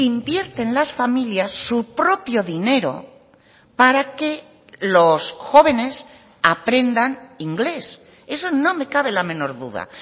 invierten las familias su propio dinero para que los jóvenes aprendan inglés eso no me cabe la menor duda